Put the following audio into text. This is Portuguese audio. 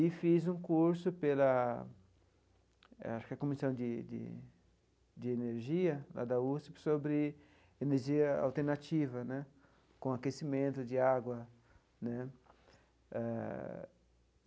E fiz um curso pela eh acho que é Comissão de de de Energia lá da USP sobre energia alternativa né, com aquecimento de água né eh.